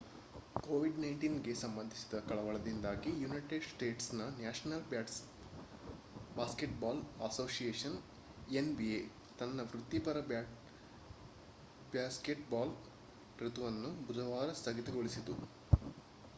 covid-19 ಗೆ ಸಂಬಂಧಿಸಿದ ಕಳವಳದಿಂದಾಗಿ ಯುನೈಟೆಡ್ ಸ್ಟೇಟ್ಸ್ನ ನ್ಯಾಷನಲ್ ಬಾಸ್ಕೆಟ್‌ಬಾಲ್ ಅಸೋಸಿಯೇಷನ್ nba ತನ್ನ ವೃತ್ತಿಪರ ಬ್ಯಾಸ್ಕೆಟ್‌ಬಾಲ್ ಋತುವನ್ನು ಬುಧವಾರ ಸ್ಥಗಿತಗೊಳಿಸಿತು